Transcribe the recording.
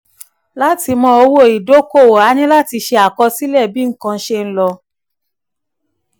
lati mọ owó ìdókòwò a níláti ṣe àkọsílẹ̀ bí nǹkan ṣe ń lọ.